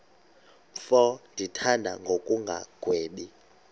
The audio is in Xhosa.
mfo ndimthanda ngokungagwebi